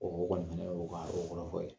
ɔ kɔni fɛnɛ ye o ka o kɔrɔfɔ ye.